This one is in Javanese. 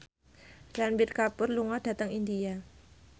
Ranbir Kapoor lunga dhateng India